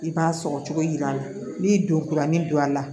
I b'a sɔgɔ cogo jira a la n'i don kuranin don a la